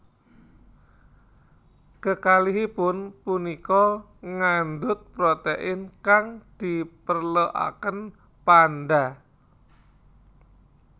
Kekalihipun punika ngandhut protein kang diperlokaken panda